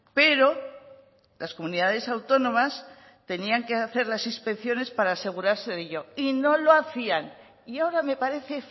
pero las comunidades autónomas tenían que hacer las inspecciones para asegurarse de ello y no lo hacían y ahora me parece